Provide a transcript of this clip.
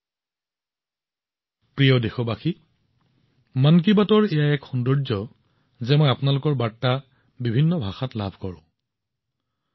মোৰ মৰমৰ দেশবাসীসকল মন কী বাতৰ সুন্দৰ কথাটো এয়াই যে মই বহুতো ভাষাত বহুতো উপভাষাত আপোনালোকৰ বাৰ্তা পাওঁ